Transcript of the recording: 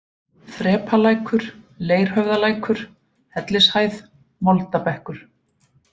Þrepalækur, Leirhöfðalækur, Hellishæð, Moldabekkur